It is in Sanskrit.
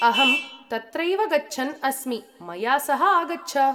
अहं तत्रैव गच्छन् अस्मि, मया सह आगच्छ।